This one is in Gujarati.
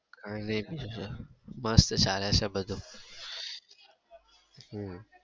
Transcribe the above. કાઈ નઈ બીજું મસ્ત ચાલે છે બધું.